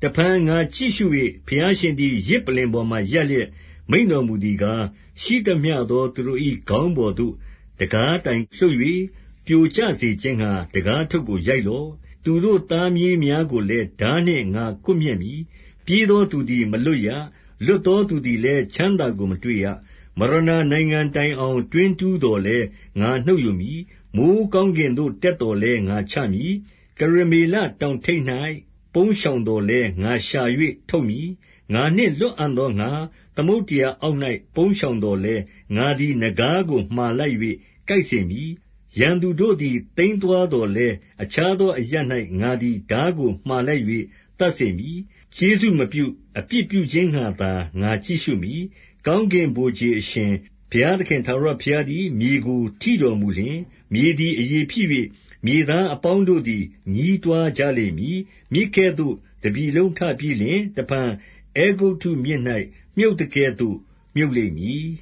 တဖန် ငါကြည့်ရှု၍ ဘုရားရှင်သည် ယဇ်ပလ္လင်ပေါ်မှာ ရပ်လျက်မိန့်တော်မူသည်ကား၊ ရှိသမျှသောသူ တို့၏ ခေါင်းပေါ်သို့ တံခါးတိုင်လှုပ်၍ ပြိုကျစေခြင်းငှါ တံခါးထုပ်ကို ရိုက်လော့။ သူတို့သားမြေးများကိုလည်း ထားနှင့် ငါကွပ်မျက်မည်။ ပြေးသောသူသည် မလွတ်ရ။ လွတ်သောသူသည်လည်း ချမ်းသာကို မတွေ့ရ။ မရဏာနိုင်ငံတိုင်အောင် တွင်းတူးသော်လည်း ငါနှုတ်ယူမည်။ မိုဃ်းကောင်းကင်သို့ တက်သော်လည်း ငါချမည်။ ကရမေလတောင်ထိပ်၌ ပုန်းရှောင်သော်လည်း၊ ငါရှာ၍ထုတ်မည်။ ငါနှင့်လွတ်အံ့သောငှါ သမုဒ္ဒရာအောက် ၌ ပုန်းရှောင်သော်လည်း၊ ငါသည် နဂါးကို မှာလိုက်၍ ကိုက်စေမည်။ ရန်သူတို့သည် သိမ်းသွားသော်လည်း၊ အခြားသောအရပ်၌ ငါသည် ထားကို မှာလိုက်၍ သတ်စေမည်။ ကျေးဇူးမပြု၊ အပြစ်ပြုခြင်းငှါသာ ငါကြည့်ရှုမည်။ ကောင်းကင်ဗိုလ်ခြေ အရှင်ဘုရားသခင် ထာဝရဘုရားသည် မြေကိုထိတော်မူလျှင်၊ မြေသည် အရည်ဖြစ်၍ မြေသားအပေါင်းတို့သည် ညည်းတွားကြလိမ့်မည်။ မြစ်ကဲ့သို့ တပြည်လုံးထပြီးလျှင်၊ တဖန် အဲဂုတ္တုမြစ်၌ မြုပ်သကဲ့သို့ မြုပ်လိမ့်မည်။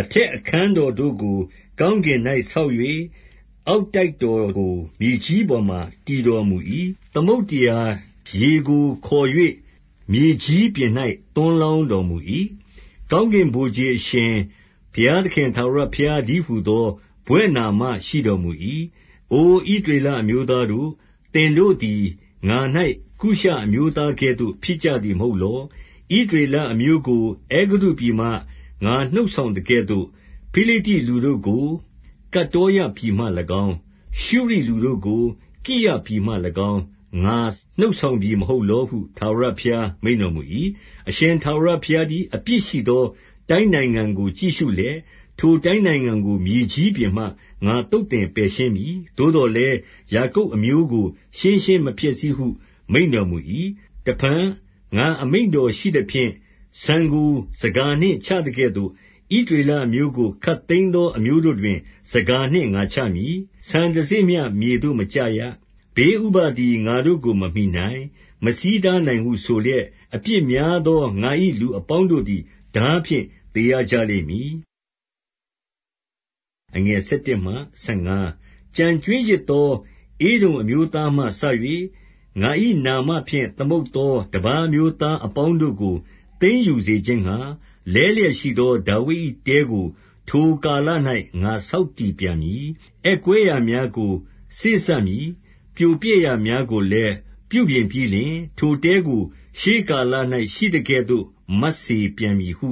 အထက်အခန်းတော်တို့ကို ကောင်းကင်၌ဆောက်၍၊ အောက်တိုက်တော်ကို မြေကြီးပေါ်မှာ တည်တော်မူ၏။ သမုဒ္ဒရာရေကိုခေါ်၍ မြေကြီးပြင်၌ သွန်းလောင်းတော်မူ၏။ ကောင်းကင်ဗိုလ်ခြေ အရှင်ဘုရားသခင် ထာဝရဘုရားတည်းဟူသော ဘွဲ့နာမရှိတော်မူ၏။ အို ဣသရေလအမျိုးသားတို့၊ သင်တို့သည် ငါ၌ ကုရှအမျိုးသားကဲ့သို့ ဖြစ်ကြသည်မဟုတ်လော။ ဣသရေ လအမျိုးကို အဲဂုတ္တုပြည်မှ ငါနှုတ်ဆောင်သကဲ့သို့၊ ဖိလိတ္တိ လူတို့ကို ကတ္တောရပြည်မှ၎င်း၊ ရှုရိလူတို့ကို ကိရပြည်မှ၎င်း ငါနှုတ်ဆောင်ပြီ မဟုတ်လောဟု ထာဝရဘုရား မိန့်တော်မူ၏။ အရှင်ထာဝရဘုရားသည် အပြစ်ရှိသော တိုင်းနိုင်ငံကို ကြည့်ရှုလျက်၊ ထိုတိုင်းနိုင်ငံကို မြေကြီးပြင်မှ ငါသုတ်သင်ပယ်ရှင်းမည်။ သို့သော်လည်း၊ ယာကုပ်အမျိုးကို ရှင်းရှင်းမဖျက်ဆီးဟု မိန့်တော်မူ၏။ တဖန် ငါအမိန့်တော်ရှိသဖြင့် ဆန်ကို ဆန်ခါနှင့် ချသကဲ့သို့၊ ဣသရေလအမျိုးကို ခပ်သိမ်းသော အမျိုးတို့တွင် ဆန်ခါနှင့်ငါချမည်။ ဆန်တစေ့မျှ မြေသို့မကျရ။ ဘေးဥပဒ်သည် ငါတို့ကို မမှီနိုင်၊ မဆီးတားနိုင်ဟု ဆိုလျက်၊ အပြစ်များသော ငါ၏လူအပေါင်းတို့သည် ထားဖြင့် သေရကြလိမ့်မည်။ ကျန်ကြွင်းရစ်သော ဧဒုံအမျိုးသားမှစ၍ ငါ၏နာမဖြင့် သမုတ်သောတပါးအမျိုးသားအပေါင်းတို့ကို သိမ်းယူစေခြင်းငှါ၊ လဲလျက်ရှိသော ဒါဝိဒ်၏တဲကို ထိုကာလ၌ ငါဆောက်တည်ပြန်မည်။ အက်ကွဲရာများကို စေ့စပ်မည်။ ပြိုပျက်ရာများကိုလည်း ပြုပြင်ပြီးလျှင်၊ ထိုတဲကို ရှေးကာလ၌ ရှိသကဲ့သို့ မတ်စေပြန်မည်ဟု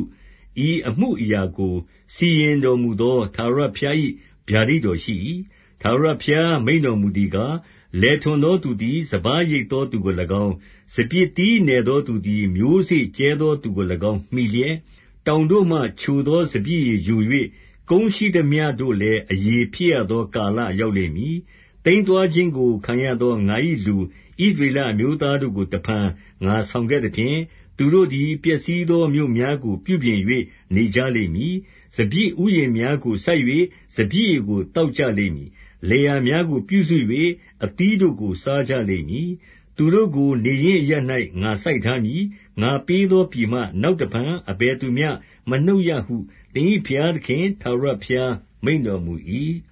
၊ ဤအမှုအရာကို စီရင်တော်မူသော ထာဝရဘုရား၏ ဗျာဒိတ်တော်ရှိ ၏။ ထာဝရဘုရား မိန့်တော်မူသည်ကား၊ လယ်ထွန်သောသူသည် စပါးရိတ်သောသူကို၎င်း၊ စပျစ်သီးနယ် သောသူသည် မျိုးစေ့ကြဲသောသူကို၎င်း မှီလျက်၊ တောင်တို့မှ ချိုသောစပျစ်ရည်ယို၍၊ ကုန်းရှိသမျှတို့လည်း အရည်ဖြစ်ရသောကာလရောက်လိမ့်မည်။ သိမ်းသွားခြင်းကို ခံရသော ငါ၏လူ ဣသရေလအမျိုးသားတို့ကို တဖန် ငါဆောင်ခဲ့သဖြင့်၊ သူတို့သည် ပျက်စီးသောမြို့များကို ပြုပြင်၍ နေကြလိမ့်မည်။ စပျစ်ဥယျာဉ်များကို စိုက်၍ စပျစ်ရည်ကို သောက်ကြလိမ့်မည်။ လယ်ယာများကို ပြုစု၍ အသီးတို့ကို စားကြလိမ့်မည်။ သူတို့ကို နေရင်းအရပ်၌ ငါစိုက်ထားမည်။ ငါ ပေးသောပြည်မှ နောက်တဖန် အဘယ်သူမျှ မနှုတ်ရဟု၊ သင်၏ဘုရားသခင် ထာဝရဘုရားမိန့်တော်မူ၏။